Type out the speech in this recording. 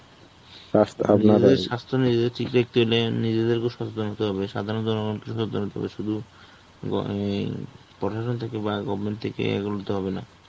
নিজেদেরকেও সচেতন হতে হবে. সাধারণ জনগণ শুধু অ্যাঁ প্রশাসন থেকে বা goverment থেকে এগোতে হবে না